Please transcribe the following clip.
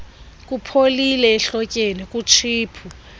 ipholile ehlotyeni kutshiphu